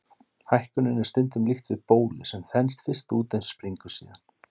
Hækkuninni er stundum líkt við bólu, sem þenst fyrst út en springur síðan.